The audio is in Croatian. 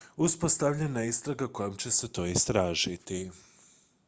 uspostavljena je istraga kojom će se to istražiti